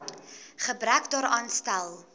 gebrek daaraan stel